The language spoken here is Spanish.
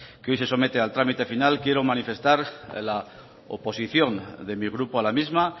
que hoy se somete al trámite final quiero manifestar la oposición de mi grupo a la misma